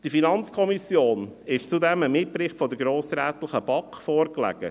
Der FiKo lag zudem ein Mitbericht der grossrätlichen BaK vor.